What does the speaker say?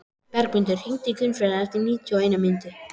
Bergmundur, hringdu í Gunnfríði eftir níutíu og eina mínútur.